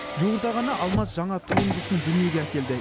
жуырда ғана алмаз жаңа туындысын дүниеге әкелді